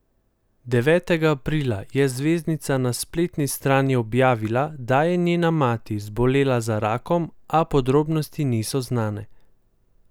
Devetega aprila je zvezdnica na spletni strani objavila, da je njena mati zbolela za rakom, a podrobnosti niso znane.